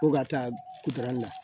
Ko ka taa na